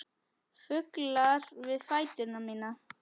Fuglar við fætur mína.